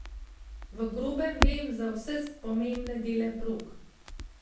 V grobem vem za vse pomembne dele prog.